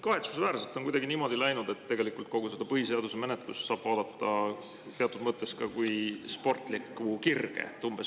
Kahetsusväärselt on kuidagi läinud niimoodi, et kogu seda põhiseaduse menetlust saab vaadata teatud mõttes ka kui sportlikku kirge.